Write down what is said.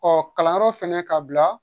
Ɔ kalanyɔrɔ fɛnɛ ka bila